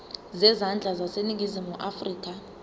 zezandla zaseningizimu afrika